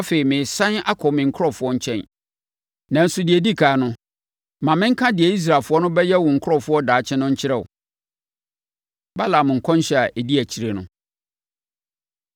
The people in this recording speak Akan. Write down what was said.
Afei, meresane akɔ me nkurɔfoɔ nkyɛn. Nanso, deɛ ɛdi ɛkan no, ma menka deɛ Israelfoɔ no bɛyɛ wo nkurɔfoɔ daakye no nkyerɛ wo.” Balaam Nkɔmhyɛ A Ɛdi Akyire No